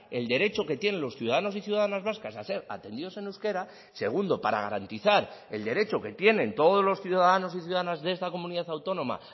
el derecho que tienen los ciudadanos y ciudadanas vascas a ser atendidos en euskera segundo para garantizar el derecho que tienen todos los ciudadanos y ciudadanas de esta comunidad autónoma